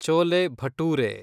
chole bhature